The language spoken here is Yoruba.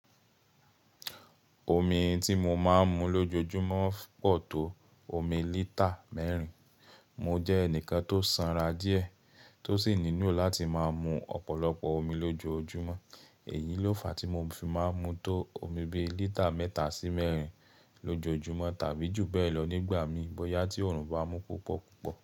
Omi tí mo máa ń mu lójoojúmọ́ pọ̀ tó omi lítà mẹ́rin. Mo jẹ́ ẹnìkan tó sanra díẹ̀ tó sì nílò láti máa mu ọ̀pọ̀lọpọ̀ omi lójoojúmọ́. Èyí ló fa tí mo fi máa ń mu tó omi bí lítà mẹ́ta sí mẹ́rin lójoojúmọ́ tàbí jù bẹ́ẹ̀ lọ nígbà miran bọ́yá tí òòrùn bá mú púpọ̀ púpọ̀.